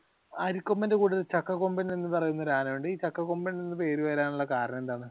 അരിക്കൊമ്പന്റെ കൂടെ ഒരു ചക്കക്കൊമ്പൻ എന്ന് പറയുന്ന ഒരു ആന ഉണ്ട് ഈ ചക്കക്കൊമ്പൻ എന്നുള്ള പേര് വരാനുള്ള കാരണം എന്താണ്?